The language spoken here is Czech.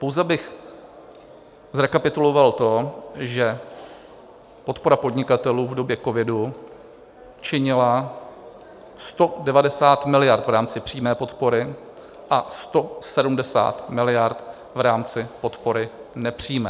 Pouze bych zrekapituloval to, že podpora podnikatelů v době covidu činila 190 miliard v rámci přímé podpory a 170 miliard v rámci podpory nepřímé.